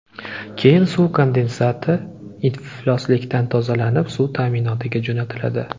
Keyin suv kondensati iflosliklardan tozalanib, suv ta’minotiga jo‘natiladi.